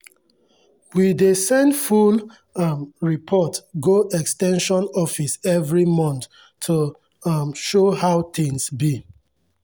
we dey send full um report go ex ten sion office every month to um show how things be.